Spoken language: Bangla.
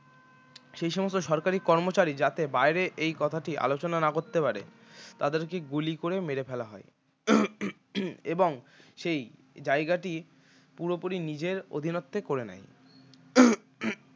সেই সমস্ত সরকারি কর্মচারী যাতে বাইরে এই কথাটি আলোচনা না করতে পারে তাদেরকে গুলি করে মেরে ফেলা হয় এবং সেই জায়গাটি পুরোপুরি নিজের অধীনস্থ করে নেয়